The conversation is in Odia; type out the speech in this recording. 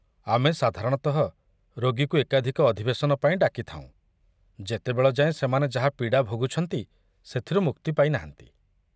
ଆମେ ସାଧାରଣତଃ ରୋଗୀକୁ ଏକାଧିକ ଅଧିବେଶନ ପାଇଁ ଡାକି ଥାଉଁ, ଯେତେବେଳ ଯାଏଁ ସେମାନେ ଯାହା ପୀଡ଼ା ଭୋଗୁଛନ୍ତି ସେଥିରୁ ମୁକ୍ତି ପାଇ ନାହାନ୍ତି।